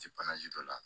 Ti dɔ la